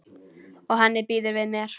Og henni býður við mér.